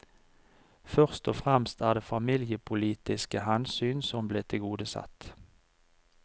Først og fremst er det familiepolitiske hensyn som ble tilgodesett.